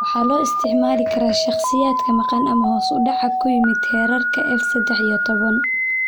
Waxaa loo isticmaali karaa shakhsiyaadka maqan ama hoos u dhac ku yimid heerarka F sedex iyo toban.